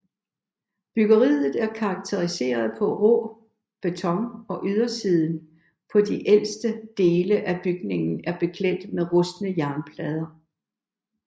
Byggeriet er karakteriseret ved rå beton og ydersiden på de ældste dele af bygningen er beklædt med rustne jernplader